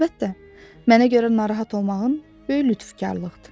Əlbəttə, mənə görə narahat olmağın böyük lütfkarlıqdır.